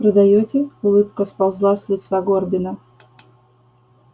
продаёте улыбка сползла с лица горбина